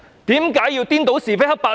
為何要顛倒是非黑白呢？